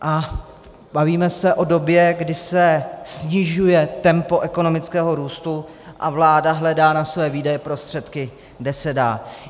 A bavíme se o době, kdy se snižuje tempo ekonomického růstu a vláda hledá na své výdaje prostředky, kde se dá.